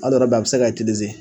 a bi se ka